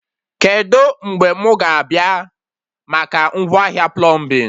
Kedụ mgbe mụ ga-abịa maka ngwaahịa plọmbin?